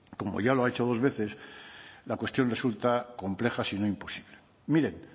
como ya lo ha hecho dos veces la cuestión resulta compleja si no imposible miren